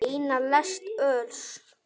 Eina lest öls.